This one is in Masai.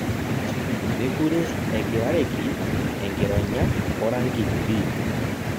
Mekure egirareki engironya orangi pii